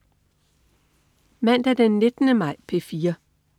Mandag den 19. maj - P4: